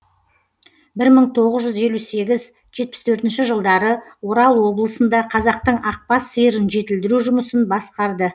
бір мың тоғыз жүз елу сегіз жетпіс төртінші жылдары орал облысында қазақтың ақбас сиырын жетілдіру жұмысын басқарды